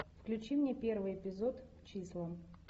включи мне первый эпизод числа